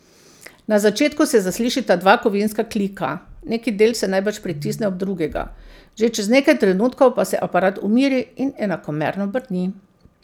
Na začetku se zaslišita dva kovinska klika, neki del se najbrž pritisne ob drugega, že čez nekaj trenutkov pa se aparat umiri in enakomerno brni.